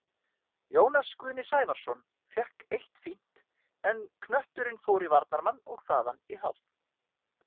Jónas Guðni Sævarsson fékk eitt fínt, en knötturinn fór í varnarmann og þaðan í horn.